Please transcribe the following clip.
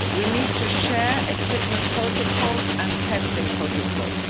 We need to share equipment protocols and testing protocols.